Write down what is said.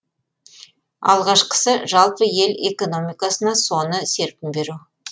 алғашқысы жалпы ел экономикасына соны серпін беру